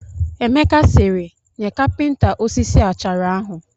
Emeka sịrị, nye kapịnta osisi achara ahụ